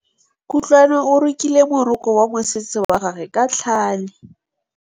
Kutlwanô o rokile morokô wa mosese wa gagwe ka tlhale.